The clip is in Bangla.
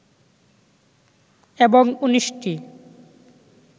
এবং ১৯ টি